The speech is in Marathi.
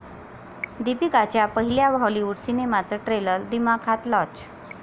दीपिकाच्या पहिल्या हॉलिवूड सिनेमाचं ट्रेलर दिमाखात लाँच